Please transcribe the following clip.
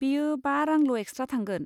बेयो बा रांल' एक्सट्रा थांगोन।